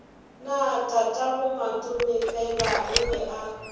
na tatagomatomefela o be a